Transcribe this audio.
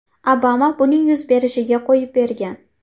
Obama buning yuz berishiga qo‘yib bergan.